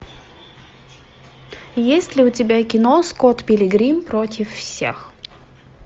есть ли у тебя кино скотт пилигрим против всех